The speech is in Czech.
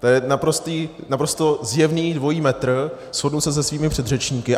To je naprosto zjevný dvojí metr, shodnu se se svými předřečníky.